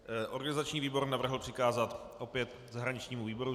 Organizační výbor navrhl přikázat opět zahraničnímu výboru.